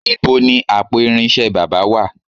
Níbo ni àpò irinṣẹ́ baba wà?